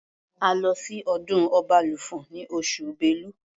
A lọ sí ọdún Ọbalùfọ̀n ní oṣù Bélu.